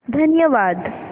धन्यवाद